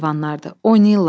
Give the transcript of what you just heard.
Yaxşı heyvanlardır.